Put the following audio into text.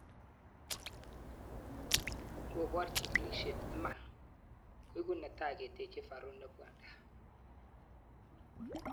Ngopor chigilishet imanda, koiku netai keteche Faru ne bwndia